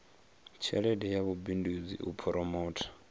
tshelede ya vhubindudzi u phoromotha